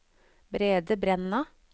Brede Brenna